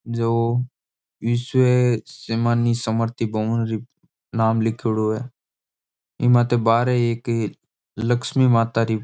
जो विश्व समानी स्मृति बहुड़ि नाम लीखेड़ो है इसमें बाहर एक लक्ष्मी माता री --